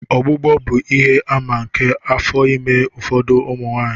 Ọgbụgbọ bụ ihe-àmà nke afọ ime n'ụfọdụ ụmụ nwanyị.